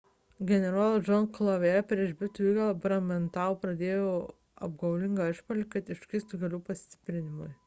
generolas john cadwalder prieš britų įgulą bordentaune pradėdavo apgaulingą išpuolį kad užkirstų kelių pastiprinimui